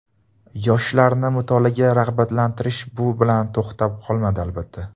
Yoshlarni mutolaaga rag‘batlantirish bu bilan to‘xtab qolmadi, albatta.